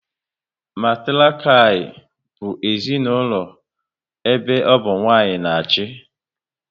Matiriakial bụ ezinaụlọ ebe ọ bụ nwanyị na achị